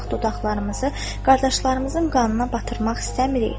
Biz heç vaxt dodaqlarımızı qardaşlarımızın qanına batırmaq istəmirik.